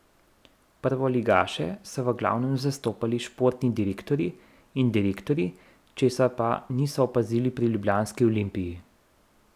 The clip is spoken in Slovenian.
Prvoligaše so v glavnem zastopali športni direktorji in direktorji, česar pa nismo opazili pri ljubljanski Olimpiji.